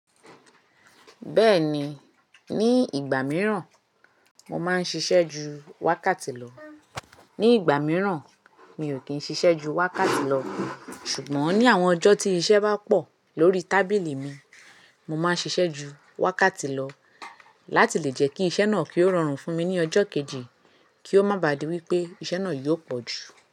Bẹ́ẹ̀ni, ní ìgbà mìíràn mo máa ń ṣiṣẹ́ ju wákàtí lọ. Ní ìgbà mìíràn mi ò kí ń ṣiṣẹ́ ju wákàtí lọ. Ṣùgbọ́n ní àwọn ọjọ́ tí iṣẹ́ bá pọ̀ lórí tábìlì mi, mo máa ń ṣiṣẹ́ ju wákàtí lọ láti lè jẹ́ kí iṣẹ́ náà kí ó rọrùn fún mi ní ọjọ́ kejì kí ó má bà á di wípé iṣẹ́ náà yóò pọ̀ jù.